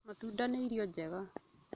Matunda nĩ irio njega